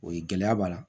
O ye gɛlɛya b'a la